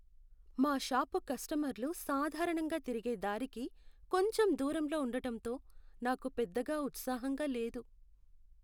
మా షాపు కస్టమర్లు సాధారణంగా తిరిగే దారికి కొంచెం దూరంలో ఉండడంతో నాకు పెద్దగా ఉత్సాహంగా లేదు.